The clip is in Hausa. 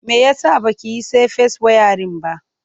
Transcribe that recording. Me ya sa ba ki yi safes wayarin ba?